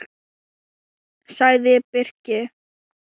sagði Birkir.